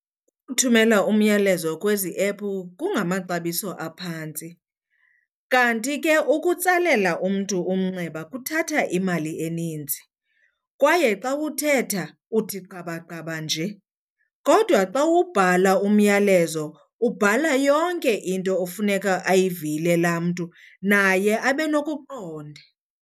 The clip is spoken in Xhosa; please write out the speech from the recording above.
Ukuthumela umyalezo kwezi epu kungamaxabiso aphantsi kanti ke ukutsalela umntu umnxeba kuthatha imali eninzi kwaye xa uthetha uthi gqaba gqaba nje. Kodwa xa ubhala umyalezo ubhala yonke into ofuneka ayivile laa mntu naye abe nokuqonda.